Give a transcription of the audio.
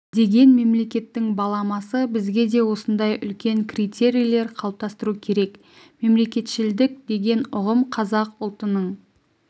деген мемлекеттің баламасы бізге де осындай үлкен критерийлер қалыптастыру керек мемлекетшілдік деген ұғым қазақ ұлтының